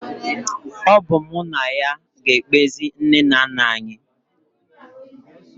Ọ bụ mụ na ya ga-ekpezi nne na nna anyị